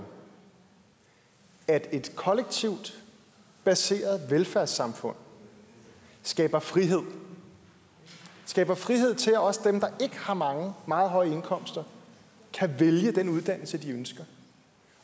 at et kollektivt baseret velfærdssamfund skaber frihed skaber frihed til at også dem der ikke har meget meget høje indkomster kan vælge den uddannelse de ønsker